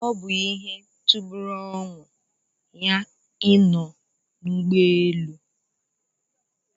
Ọ bụ ihe tọgburu onwe ya ị nọ n'ụgbọ elu